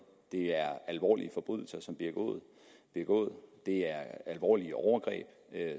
det er alvorlige forbrydelser som bliver begået det er alvorlige overgreb